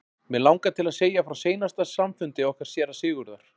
Mig langar til að segja frá seinasta samfundi okkar séra Sigurðar.